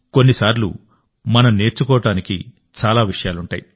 కొన్నిసార్లు మనం నేర్చుకోవడానికి చాలా విషయాలుంటాయి